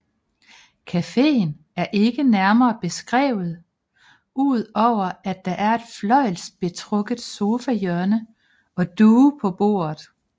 Cafeen er ikke nærmere beskrevet udover at der er et fløjlsbetrukket sofahjørne og duge på bordet